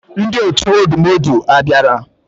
Ndi otu odumodu abiara